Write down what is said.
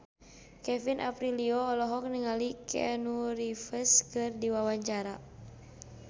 Kevin Aprilio olohok ningali Keanu Reeves keur diwawancara